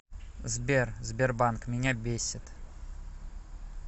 сбер сбербанк меня бесит